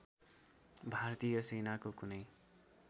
भारतीय सेनाको कुनै